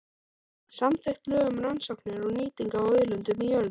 Samþykkt lög um rannsóknir og nýtingu á auðlindum í jörðu.